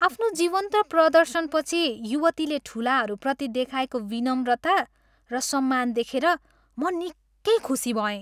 आफ्नो जीवन्त प्रदर्शनपछि युवतीले ठुलाहरूप्रति देखाएको विनम्रता र सम्मान देखेर म निकै खुसी भएँ।